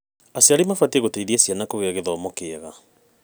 Aciari mabatiĩ gũciteithia ciana kũgĩa gĩthomo kĩega.